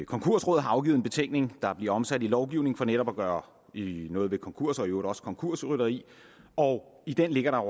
konkursrådet har afgivet en betænkning der bliver omsat i lovgivning for netop at gøre noget ved konkurser og i øvrigt også konkursrytteri og i den ligger der